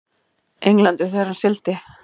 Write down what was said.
Englandi þegar hann sigldi.